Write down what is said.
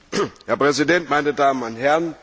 Herr Präsident, meine Damen und Herren!